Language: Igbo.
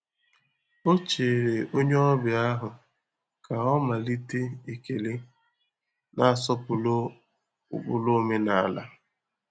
Ọ chere onye ọbịa ahụ ka ọ malite ekele, na-asọpụrụ ụkpụrụ omenala.